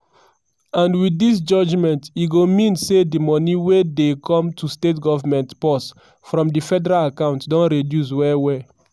and wit dis judgement e go mean say di money wey dey come to state government purse from di federation account don reduce well well.